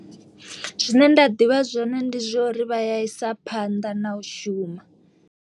Zwine nda ḓivha zwone ndi zwa uri vha ya isa phanḓa na u shuma.